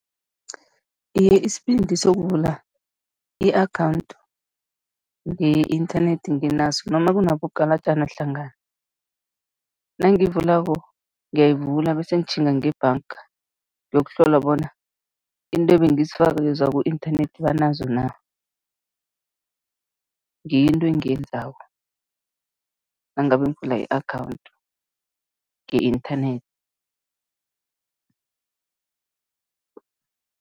Iye, isibindi sokuvula i-akhawundi nge-internet nginaso noma kunabogalajana hlangana. Nangiyivulako, ngiyayivula bese ngitjhinga ngebhanga, ngiyokuhlola bona into ebengizifakakweza ku-inthanethi banazo na, ngiyo into engiyenzako nangabe ngivula i-akhawundi nge-internet.